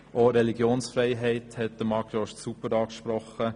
Marc Jost hat die Religionsfreiheit bereits sehr gut angesprochen.